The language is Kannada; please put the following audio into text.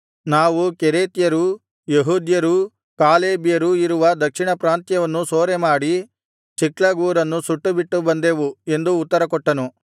ನಾವು ಕೆರೇತ್ಯರೂ ಯೆಹೂದ್ಯರೂ ಕಾಲೇಬ್ಯರೂ ಇರುವ ದಕ್ಷಿಣ ಪ್ರಾಂತ್ಯವನ್ನು ಸೂರೆಮಾಡಿ ಚಿಕ್ಲಗ್ ಊರನ್ನು ಸುಟ್ಟುಬಿಟ್ಟು ಬಂದೆವು ಎಂದು ಉತ್ತರ ಕೊಟ್ಟನು